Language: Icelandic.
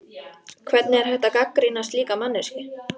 Hvernig er hægt að gagnrýna slíka manneskju?